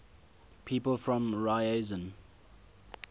people from ryazan